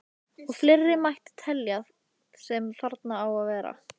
Og fleira mætti telja sem þarna á að verða.